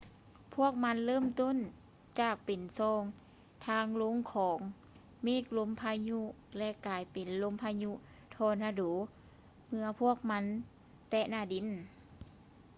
ພວກມັນເລີ່ມຕົ້ນຈາກເປັນຊ່ອງທາງລົງຂອງເມກລົມພາຍຸ ແລະ ກາຍເປັນ ລົມພະຍຸທໍນາໂດ ເມື່ອພວກມັນແຕະໜ້າດິນ